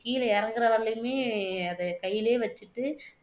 கீழ இறங்குற வரையிலுமே அதை கையிலயே வச்சுட்டு